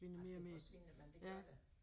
Ej det forsvinder men det gør det